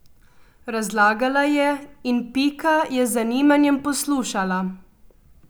Razlagala je in Pika je z zanimanjem poslušala.